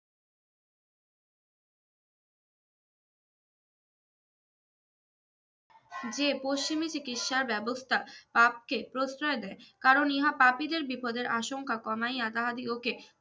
যে পশ্চিমী চিকিৎসার ব্যবস্থা পাপ কে প্রশ্রয় দেয় কারন ইহা পাপীদের বিপদের আশাঙ্কা কমাইয়া তাহাদিগকে